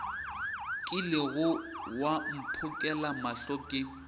kilego wa mphokela mohla ke